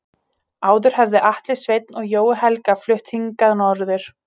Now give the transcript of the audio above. Áður höfðu Atli Sveinn og Jói Helga flutt hingað norður.